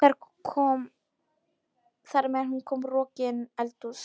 Þar með er hún rokin niður í eldhús.